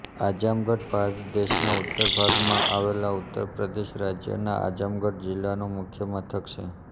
આઝમગઢ ભારત દેશના ઉત્તર ભાગમાં આવેલા ઉત્તર પ્રદેશ રાજ્યના આઝમગઢ જિલ્લાનું મુખ્ય મથક છે